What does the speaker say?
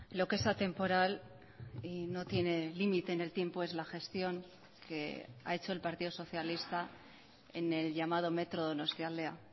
lo que es atemporal y no tiene límite en el tiempo es la gestión que ha hecho el partido socialista en el llamado metro donostialdea